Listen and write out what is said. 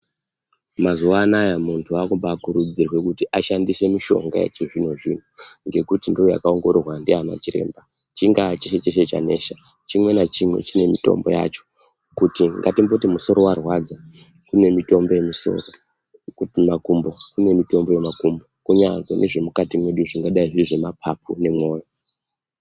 Mazuva anaya muntu wakumbakurudzirwe kuti ashandise mishonga yechizvino-zvino ngekuti ndoyakaongororwa ndiana chiremba. Chingaa chiri cheshe chanesha, chimwe nachimwe chine mitombo yacho. Kuti ngatimboti musoro warwadza, kune mitombo yemisoro, makumbo kune mitombo yemakumbo. Kunyange nezvemukati mwedu zvingadai zviri zvemapapu nemwoyo.